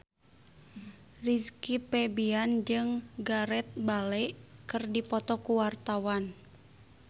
Rizky Febian jeung Gareth Bale keur dipoto ku wartawan